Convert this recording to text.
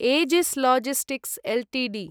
Aegis Logistics Ltd